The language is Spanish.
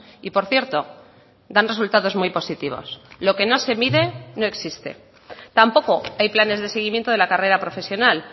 y por cierto dan resultados muy positivos lo que no se mide no existe tampoco hay planes de seguimiento de la carrera profesional